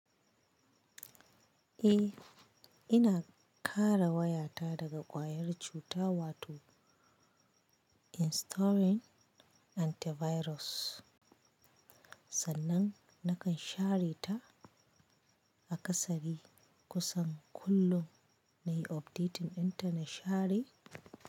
Eh, ina kare wayata daga ƙwayar cuta wato installing antivirus. Sannan nakan share ta a ƙasari kusan kullum na yi updating ɗin ta na share.